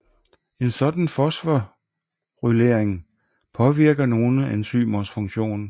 En sådan fosforylering påvirker nogle enzymers funktion